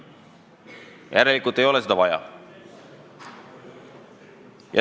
Järelikult ei ole seda vaja.